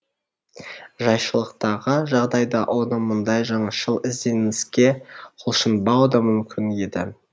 жайшылықтағы жағдайда оның мұндай жаңашыл ізденіске құлшынбауы да мүмкін еді